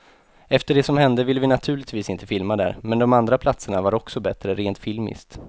Efter det som hände ville vi naturligtvis inte filma där, men de andra platserna var också bättre rent filmiskt.